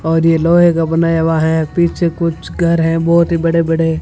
और ये लोहे का बनाया हुआ है पीछे कुछ घर है बहोत ही बड़े बड़े--